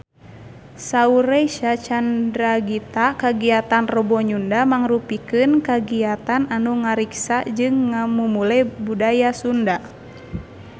Saur Reysa Chandragitta kagiatan Rebo Nyunda mangrupikeun kagiatan anu ngariksa jeung ngamumule budaya Sunda